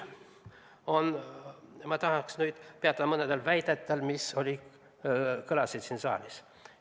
Ma tahaks nüüd peatuda mõnel väitel, mis kõlasid siin saalis.